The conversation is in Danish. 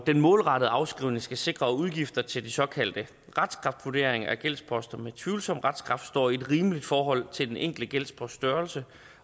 den målrettede afskrivning skal sikre udgifter til de såkaldte retskraftvurderinger af om gældsposter med tvivlsom retskraft står i et rimeligt forhold til den enkelte gældsposts størrelse